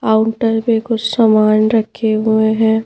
Counter पे कुछ सामान रखे हुए हैं।